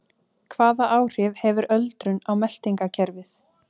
Hvaða áhrif hefur öldrun á meltingarkerfið?